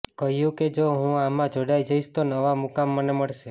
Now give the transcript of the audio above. કહ્યું કે જો હું આમાં જોડાઈ જઈશ તો નવા મુકામ મને મળશે